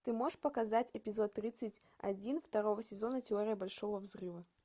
ты можешь показать эпизод тридцать один второго сезона теория большого взрыва